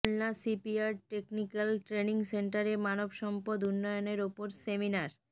Khulna shipyard technical training সেন্টারে মানবসম্পদ উন্নয়নের ওপর সেমিনার